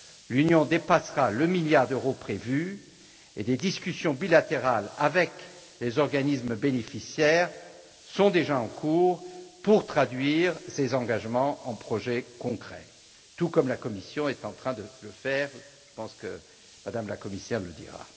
L'Union dépassera le milliard d'euros prévu, et des discussions bilatérales avec les organismes bénéficiaires sont déjà en cours pour traduire ces engagements en des projets concrets, tout comme la Commission est en train de le faire je pense que Mme la commissaire nous le dira.